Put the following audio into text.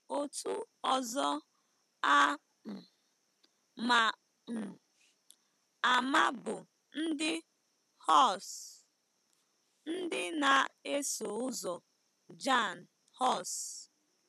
Otu ọzọ a um ma um ama bụ ndị Hus, ndị na-eso ụzọ Jan Hus.